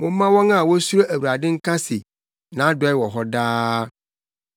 Momma wɔn a wosuro Awurade nka se, “Nʼadɔe wɔ hɔ daa.”